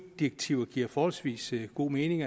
direktiv giver forholdsvis god mening